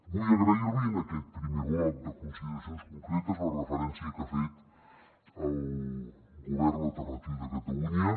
vull agrair li en aquest primer bloc de consideracions concretes la referència que ha fet al govern alternatiu de catalunya